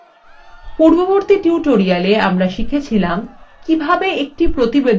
পূর্ববর্তী tutoriala আমরা শিখেছিলাম কিভাবে একটি প্রতিবেদন তৈরি করা যায়